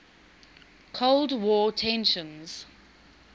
cold war tensions